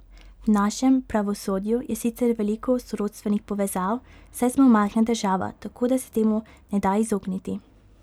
V našem pravosodju je sicer veliko sorodstvenih povezav, saj smo majhna država, tako da se temu ne da izogniti.